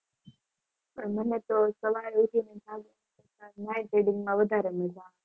પણ મને તો સવારે કરતા night reading માં વધારે મજા આવે.